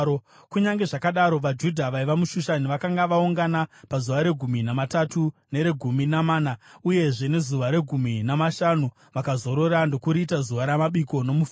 Kunyange zvakadaro, vaJudha vaiva muShushani vakanga vaungana pazuva regumi namatatu, neregumi namana, uyezve nezuva regumi namashanu, vakazorora ndokuriita zuva ramabiko nomufaro.